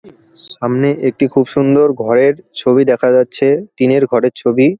সামনে একটি খুব সুন্দর ঘরের ছবি দেখা যাচ্ছে টিনের ঘরের ছবি ।